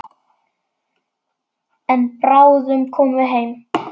En bráðum komum við heim.